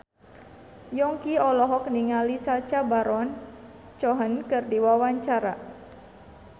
Yongki olohok ningali Sacha Baron Cohen keur diwawancara